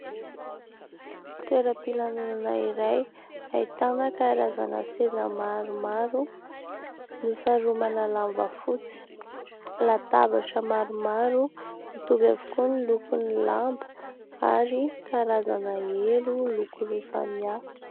Toera-pilanonana iray ahitana karazana seza maromaro nosaromana lamba fotsy, latabatra maromaro mitovy avokoa ny lokon'ny lamba ary karazana elo loko roa samihafa.